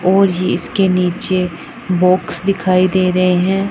और ये इसके नीचे बाक्स दिखाई दे रहे हैं।